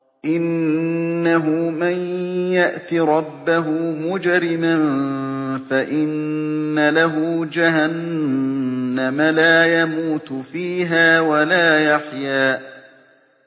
إِنَّهُ مَن يَأْتِ رَبَّهُ مُجْرِمًا فَإِنَّ لَهُ جَهَنَّمَ لَا يَمُوتُ فِيهَا وَلَا يَحْيَىٰ